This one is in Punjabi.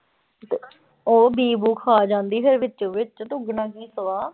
ਉਹ ਬੀਅ ਬੂਅ ਖਾ ਜਾਂਦੀ ਫਿਰ ਵਿੱਚੋ ਵਿੱਚ ਤੇ ਉੱਗਣਾ ਕੀ ਸਵਾਹ।